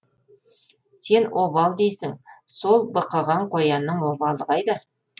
сен обал дейсің сол бықыған қоянның обалы қайда